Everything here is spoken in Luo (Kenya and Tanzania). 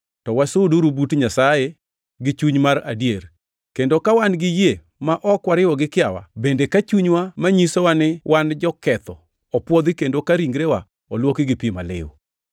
to wasuduru but Nyasaye gi chuny mar adier, kendo ka wan gi yie ma ok wariwo gi kiawa, bende ka chunywa manyisowa ni wan joketho opwodhi kendo ka ringrewa olwoki gi pi maliw.